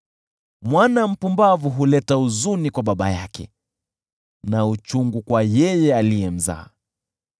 Mwana mpumbavu huleta huzuni kwa baba yake na uchungu kwa yeye aliyemzaa.